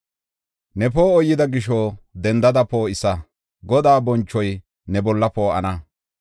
Ne poo7oy yida gisho, dendada poo7isa; Godaa bonchoy ne bolla poo7ana.